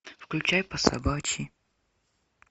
включай по собачьи